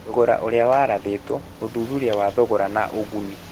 Thogora ũrĩa warathĩtwo (ũthuthuria wa thogora na ũguni)